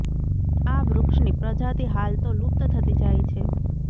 આ વૃક્ષની પ્રજાતિ હાલ તો લુપ્ત થતી જાય છે